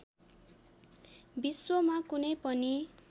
विश्वमा कुनै पनि